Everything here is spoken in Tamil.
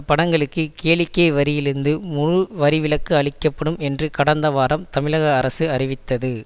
படங்களுக்கு கேளிக்கை வரியிலிருந்து முழு வரிவிலக்கு அளிக்க படும் என்று கடந்த வாரம் தமிழக அரசு அறிவித்தது